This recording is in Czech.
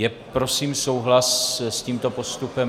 Je prosím souhlas s tímto postupem?